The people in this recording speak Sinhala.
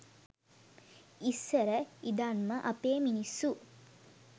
ඉස්සර ඉදන්ම අපේ මිනිස්සු